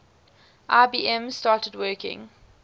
ibm started working